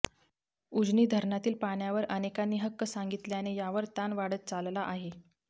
उजनी धरणातील पाण्यावर अनेकांनी हक्क सांगितल्याने यावर ताण वाढत चालला आहे